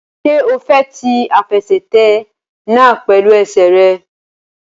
Ṣé o fẹ́ ti àfẹsẹ̀tẹ̀ náà pẹ̀lú ẹsẹ̀ rẹ?